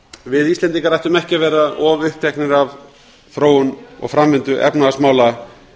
við íslendingar ættum ekki að vera of uppteknir af þróun og framvindu efnahagsmála